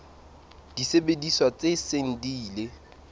disebediswa tse seng di ile